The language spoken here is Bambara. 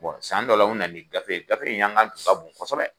Bɔn san dɔ la u nana nin gafe ye gafe in yanga tun ka bon kɔsɛbɛ